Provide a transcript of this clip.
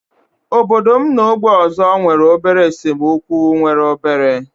Obodo m na ógbè ọzọ nwere obere esemokwu nwere obere